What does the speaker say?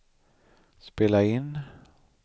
spela in